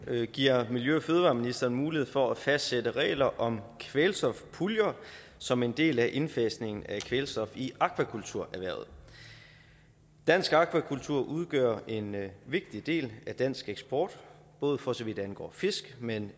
giver miljø og fødevareministeren mulighed for at fastsætte regler om kvælstofpuljer som en del af indfasningen af kvælstof i akvakulturerhvervet dansk akvakultur udgør en vigtig del af dansk eksport både for så vidt angår fisk men